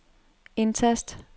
indtast